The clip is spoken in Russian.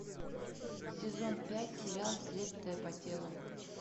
сезон пять сериал следствие по телу